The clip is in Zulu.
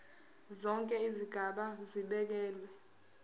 zonke izigaba zibekelwe